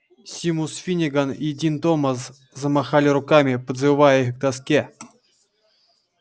симус финниган и дин томас замахали руками подзывая их к доске